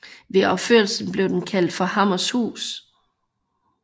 Ved opførelsen blev den kaldt for Hammershus